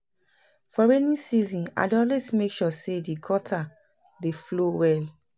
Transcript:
for rainy season I dey always mek sure say di gutter dey flow well